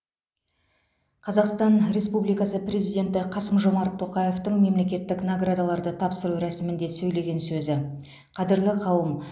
қзақстан республикасы президенті қасым жомарт тоқаевтың мемлекеттік наградаларды тапсыру рәсімінде сөйлеген сөзі қадірлі қауым